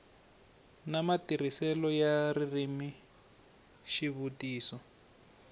na matirhiselo ya ririmi xivutiso